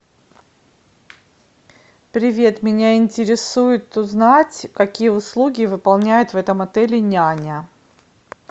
привет меня интересует узнать какие услуги выполняет в этом отеле няня